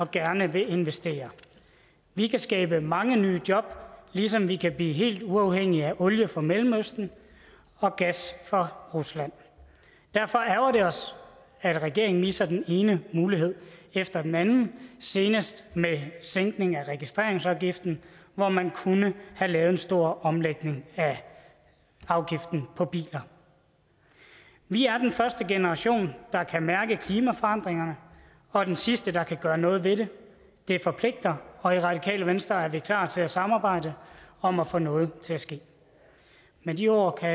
gerne vil investere vi kan skabe mange nye job ligesom vi kan blive helt uafhængige af olie fra mellemøsten og gas fra rusland derfor ærgrer det os at regeringen misser den ene mulighed efter den anden senest med sænkning af registreringsafgiften hvor man kunne have lavet en stor omlægning af afgiften på biler vi er den første generation der kan mærke klimaforandringerne og den sidste der kan gøre noget ved det det forpligter og i radikale venstre er vi klar til at samarbejde om at få noget til at ske med de ord kan